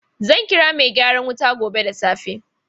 Zan kira mai gyaran wuta gobe da safe.